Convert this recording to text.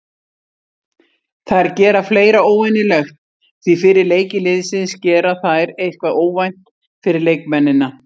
Þær gera fleira óvenjulegt því fyrir leiki liðsins gera þær eitthvað óvænt fyrir leikmennina.